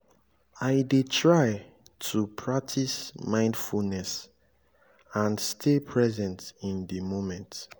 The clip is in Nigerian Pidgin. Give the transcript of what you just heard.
i dey try to practice mindfulness and stay present in di moment.